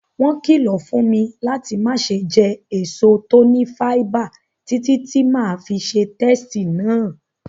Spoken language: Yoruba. Won kìlọ̀ fún mi láti mase je èso to ni fáíbà títí ti ma fi se testí náà